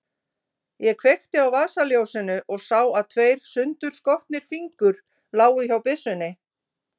Ég kveikti á vasaljósinu og sá að tveir sundurskotnir fingur lágu hjá byssunni.